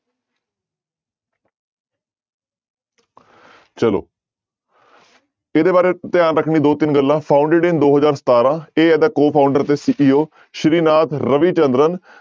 ਚਲੋ ਇਹਦੇ ਬਾਰੇ ਧਿਆਨ ਰੱਖਣੀ ਦੋ ਤਿੰਨ ਗੱਲਾਂ founded ਇਨ ਦੋ ਹਜ਼ਾਰ ਸਤਾਰਾਂ, ਇਹ ਇਹਦਾ co-founder ਤੇ CEO ਸ੍ਰੀ ਨਾਥ ਰਵੀ ਚੰਦਰਨ